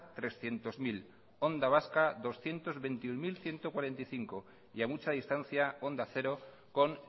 trescientos mil onda vasca doscientos veintiuno mil ciento cuarenta y cinco y a mucha distancia onda cero con